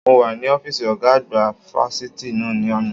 Mo wà ní ọ́fíìsì ọ̀gá àgbà fáfitì náà ní àná.